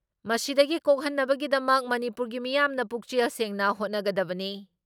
ꯃꯁꯤꯗꯒꯤ ꯀꯣꯛꯍꯟꯅꯕꯒꯤꯗꯃꯛ ꯃꯅꯤꯄꯨꯔꯒꯤ ꯃꯤꯌꯥꯝꯅ ꯄꯨꯛꯆꯦꯜ ꯁꯦꯡꯅ ꯍꯣꯠꯅꯒꯗꯕꯅꯤ ꯫